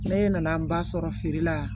Ne nana n ba sɔrɔ feere la